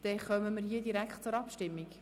Somit kommen wir direkt zur Abstimmung.